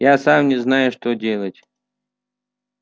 я сам не знаю что делать